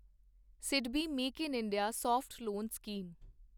SIDBI make in India soft loan scheme